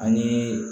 Ani